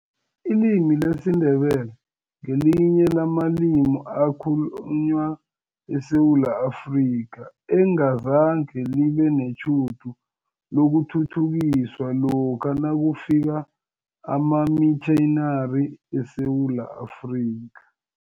Ilimi lesiNdebele ngelinye lamalimi ekhalunywa eSewula Afrika, engazange libe netjhudu lokuthuthukiswa lokha nakufika amamitjhinari eSewula Afrika.